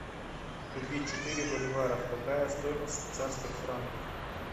купить четыре боливара какая стоимость в швейцарских франках